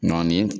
Nɔɔni